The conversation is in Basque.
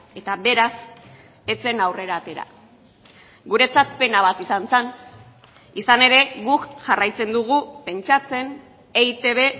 eta beraz ez zen aurrera atera guretzat pena bat izan zen izan ere guk jarraitzen dugu pentsatzen eitb